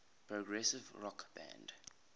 progressive rock band